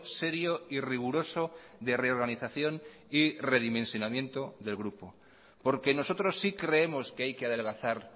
serio y riguroso de reorganización y redimensionamiento del grupo porque nosotros sí creemos que hay que adelgazar